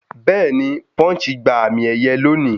Bẹ́ẹ̀ni Punch gba àmì ẹ̀yẹ lóòní